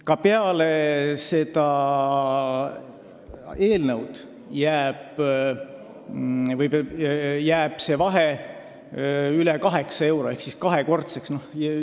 Ka peale selle eelnõu heakskiitmist jääb see vahe üle 8 euro ehk siis kaks korda suuremaks, kui välja kannataks.